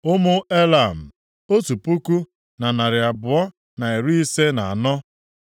Ụmụ Elam, otu puku na narị abụọ na iri ise na anọ (1,254).